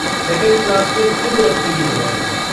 Second class में तिल रखने की जगह नहीं।